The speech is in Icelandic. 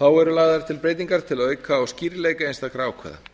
þá eru lagðar til breytingar til að auka á skýrleika einstakra ákvæða